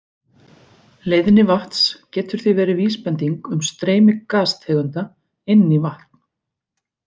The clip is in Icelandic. Leiðni vatns getur því verið vísbending um streymi gastegunda inn í vatn.